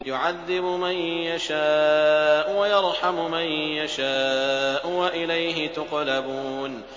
يُعَذِّبُ مَن يَشَاءُ وَيَرْحَمُ مَن يَشَاءُ ۖ وَإِلَيْهِ تُقْلَبُونَ